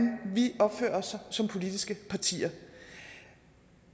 vi opfører os som politiske partier